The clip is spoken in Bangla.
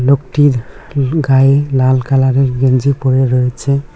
লোকটির গায়ে লাল কালারের গেঞ্জি পড়ে রয়েছে।